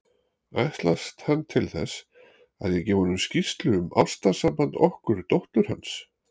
Ætlast hann til þess, að ég gefi honum skýrslu um ástarsamband okkar dóttur hans?